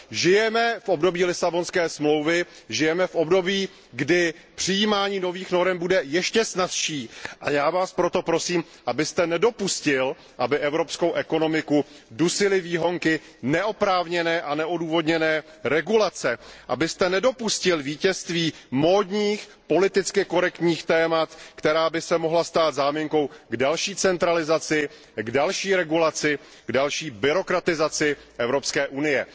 Žijeme v období Lisabonské smlouvy, žijeme v období, kdy přijímání nových norem bude ještě snazší, a já Vás proto prosím, abyste nedopustil, aby evropskou ekonomiku dusily výhonky neoprávněné a neodůvodněné regulace, abyste nedopustil vítězství módních, politicky korektních témat, která by se mohla stát záminkou k další centralizaci, k další regulaci, k další byrokratizaci Evropské unie.